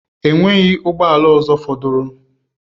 Enweghị ụgbọ ala ọzọ fọdụrụ.